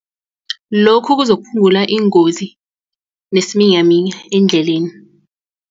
Lokhu kuzokuphungula iingozi nesiminyaminya eendleleni.